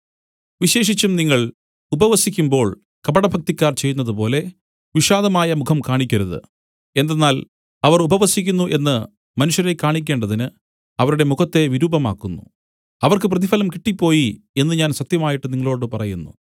വിശേഷിച്ചും നിങ്ങൾ ഉപവസിക്കുമ്പോൾ കപടഭക്തിക്കാർ ചെയ്യുന്നതുപോലെ വിഷാദമായ മുഖം കാണിക്കരുത് എന്തെന്നാൽ അവർ ഉപവസിക്കുന്നു എന്നു മനുഷ്യരെ കാണിക്കേണ്ടതിന് അവരുടെ മുഖത്തെ വിരൂപമാക്കുന്നു അവർക്ക് പ്രതിഫലം കിട്ടിപ്പോയി എന്നു ഞാൻ സത്യമായിട്ട് നിങ്ങളോടു പറയുന്നു